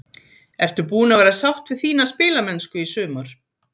Ertu búin að vera sátt við þína spilamennsku í sumar?